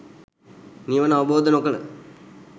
නිවන අවබෝධ නොකළ